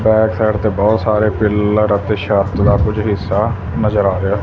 back side ਤੇ ਬਹੁਤ ਸਾਰੇ ਪੀਲਰ ਅਤੇ ਛੱਤ ਦਾ ਕੁਝ ਹਿੱਸਾ ਨਜ਼ਰ ਆ ਰਿਹਾ --